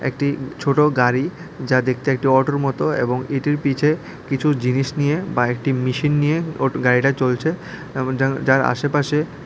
একটি ছোট গাড়ি যা দেখতে একটি অটোর মত এবং এটির পিঠে কিছু জিনিস নিয়ে বা একটি মেশিন নিয়ে অটো গাড়িটা চলছে এবং যার যার আশেপাশে--